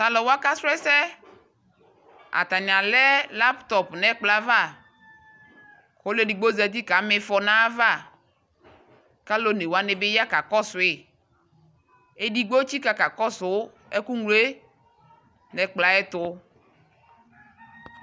Ta lu wa ka srɔ ɛsɛAtane alɛ lapto nɛ kplɔ ava ko ole digbo zati ka mifɔ nava ka lu one wane be ya ka kɔsoeEdigbo etsika ka kɔso ɛku ñlɔe nɛkplɔɛ ayɛto